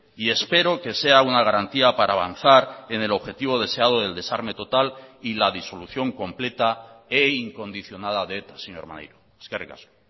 y espero que sea una garantía para avanzar en el objetivo deseado del desarme total y la disolución completa e incondicionada de eta señor maneiro eskerrik asko